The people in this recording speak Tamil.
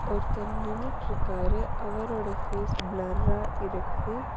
ஒருத்தர் நின்னுட்ருக்காரு அவரோட ஃபேஸ் பிலர்ரா இருக்கு.